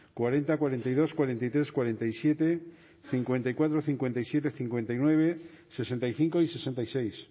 cuarenta cuarenta y dos cuarenta y tres cuarenta y siete cincuenta y cuatro cincuenta y siete cincuenta y nueve sesenta y cinco y sesenta y seis